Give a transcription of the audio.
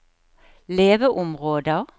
leveområder